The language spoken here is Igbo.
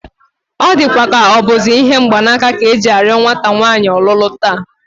Ọ dịkwa ka ọ bụzi ihe mgbanaka ka e ji arịọ nwata nwaanyị ọlụlụ taa